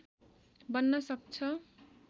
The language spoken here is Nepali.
बन्न सक्छ